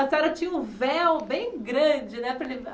A senhora tinha um véu bem grande, né, para levar.